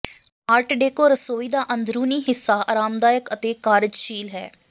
art deco ਰਸੋਈ ਦਾ ਅੰਦਰੂਨੀ ਹਿੱਸਾ ਆਰਾਮਦਾਇਕ ਅਤੇ ਕਾਰਜਸ਼ੀਲ ਹੈ